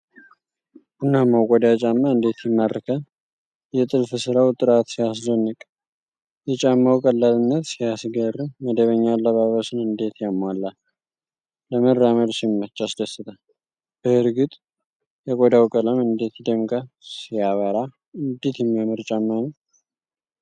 ቡናማው ቆዳ ጫማ እንዴት ይማርካል! የጥልፍ ሥራው ጥራት ሲያስደንቅ! የጫማው ቀላልነት ሲያስገርም! መደበኛ አለባበስን እንዴት ያሟላል! ለመራመድ ሲመች ያስደስታል! በእርግጥ የቆዳው ቀለም እንዴት ይደምቃል! ሲያበራ! እንዴት የሚያምር ጫማ ነው!